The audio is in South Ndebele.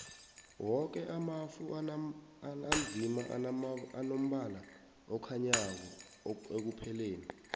woke amafu anzima anombala okhanyako ekupheleni